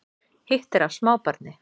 Hitt er af smábarni